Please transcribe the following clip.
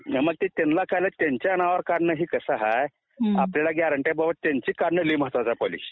मग ते त्यांना त्यांच्या नावावर काढणं हे कस आहे आपल्याला गॅरंटी आहे की त्यांची काढणं लै महत्वाची आहे पॉलिसी